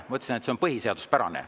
Ma ütlesin, et see on põhiseaduspärane.